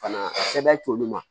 Fana sɛbɛn t'olu ma